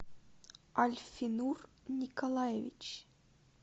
альфинур николаевич